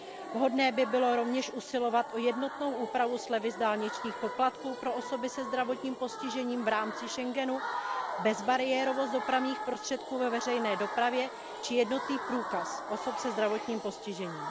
Vhodné by bylo rovněž usilovat o jednotnou úpravu slevy z dálničních poplatků pro osoby se zdravotním postižením v rámci schengenského prostoru, bezbariérovost dopravních prostředků ve veřejné dopravě či jednotný průkaz osob se zdravotním postižením.